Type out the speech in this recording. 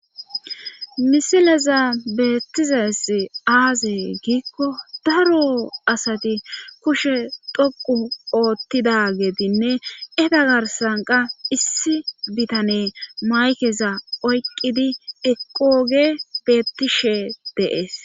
misileza beettizaesi aaze giikko daro asati kushe doqu oottida geedinne eda garsanqa issi bitane maykeza oyqqidi eqooge beettishe deees